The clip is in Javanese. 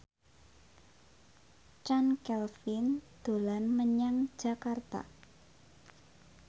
Chand Kelvin dolan menyang Jakarta